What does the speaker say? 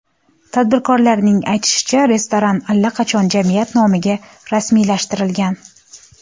Tadbirkorning aytishicha, restoran allaqachon jamiyat nomiga rasmiylashtirilgan.